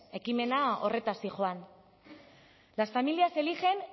ekimena horretaz zihoan las familias eligen